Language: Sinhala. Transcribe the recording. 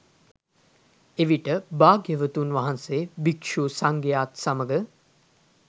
එවිට භාග්‍යවතුන් වහන්සේ භික්ෂු සංඝයා ත් සමඟ